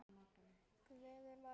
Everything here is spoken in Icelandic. Gleðin var við völd.